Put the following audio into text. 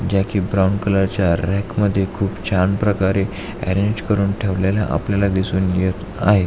Jackie brown colour च्या rack मध्ये खूप छान प्रकारे अरेंज करून ठेवलेल्या आपल्याला दिसून येत आहे.